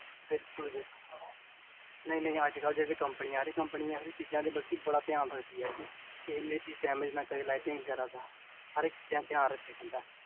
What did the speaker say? ਬਿਲਕੁਲ ਬਿਲਕੁਲ ਨੀ ਨੀ, ਅੱਜਕਲ ਜੇਹੜੀ ਕੰਪਨੀ ਆ ਰਹੀ ਹੈ ਕੰਪਨੀ ਇਹ ਜਾਹਿ ਚੀਜਾਂ ਦਾ ਧਿਆਨ ਰੱਖੀਦੀ ਕਿ ਕਿਵੇਂ ਚੀਜ damage ਨਾ ਕਰੇ lighting ਵਗੈਰਾ ਦਾ